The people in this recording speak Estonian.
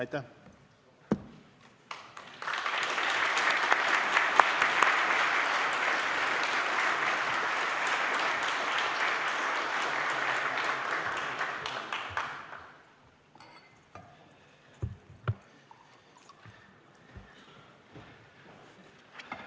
Aitäh!